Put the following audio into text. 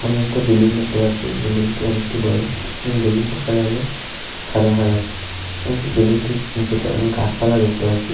সামনে একটি বিল্ডিং দেখতে পাচ্ছি বিল্ডিং টি অনেকটি বড় এবং বিল্ডিং টির কালার হলো সাদা কালার এবং বিল্ডিং টির নীচেতে অনেক গাছপালা দেখতে পাচ্ছি।